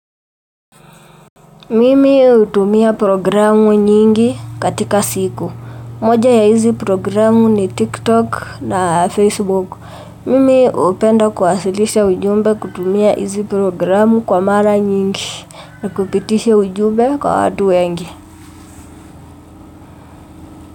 Mimi utumia programu nyingi katika siku. Moja ya hizi programu ni TikTok na Facebook. Mimi hupenda kuwasilisha ujumbe kutumia hizi programu kwa mara nyingi na kupitisha ujumbe kwa watu wengi.